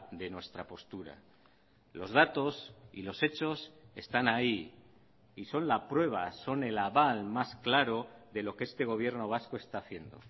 de nuestra postura los datos y los hechos están ahí y son la prueba son el aval más claro de lo que este gobierno vasco está haciendo